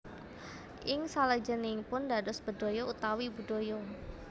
Ing salajengipun dados bedhaya utawi budaya